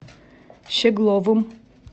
щегловым